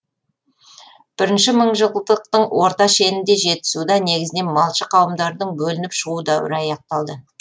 бірінші мыңжылдықтың орта шенінде жетісуда негізінен малшы қауымдарының бөлініп шығу дәуірі аяқталды